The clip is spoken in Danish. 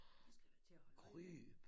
Det skal jeg da til at holde øje med